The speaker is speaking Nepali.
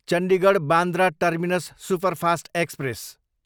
Chandigarh, Bandra terminus superfast express